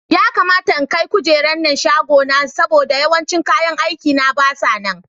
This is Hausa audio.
Ya kamata in kai kujeran nan shagon aikina saboda yawancin kayan aikina basa nan.